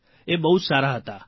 એ બહું સારા હતા